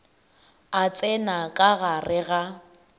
a tsena ka gare ga